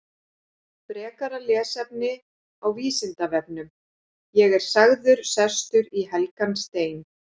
Frekara lesefni á Vísindavefnum: Ég er sagður sestur í helgan stein.